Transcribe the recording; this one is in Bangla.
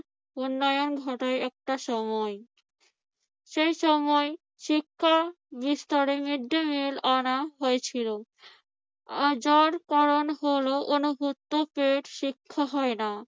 উন্নয়ন ঘটায় একটা সময়। সে সময় শিক্ষা বিস্তারে মৃদ্দিমিল আনা হয়েছিল। হলো অনভুক্ত পেটে শিক্ষা হয় না।